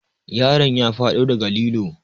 Yaron ya faɗo daga lilo.